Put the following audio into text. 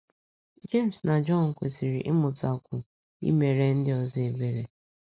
Jems na Jọn kwesịrị ịmụtakwu imere ndị ọzọ ebere.